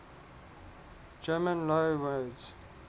german loanwords